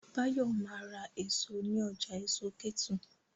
Báyọ̀ ma ra èso ní ọjà èso Kétu